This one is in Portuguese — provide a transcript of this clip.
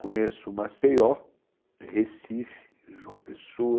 Conheço Maceió, Recife, João Pessoa,